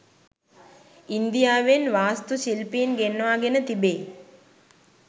ඉන්දියාවෙන් වාස්තු ශිල්පින් ගෙන්වාගෙන තිබේ.